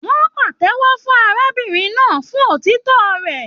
Wọn pàtẹ́wọ́ fún arábìnrin náà fún òtítọ rẹ.